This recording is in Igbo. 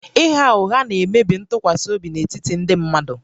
Ịgha ụgha na-emebi ntụkwasị obi n'etiti ndị mmadụ